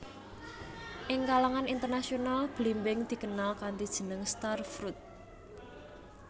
Ing kalangan internasional blimbing dikenal kanthi jeneng star fruit